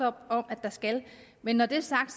op om at der skal men når det er sagt